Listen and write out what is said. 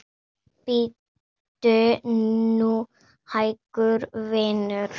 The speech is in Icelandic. Bíddu nú hægur, vinur.